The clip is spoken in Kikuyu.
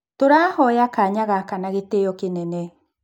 Tũroya kanya gaka na gĩtĩo kĩnene."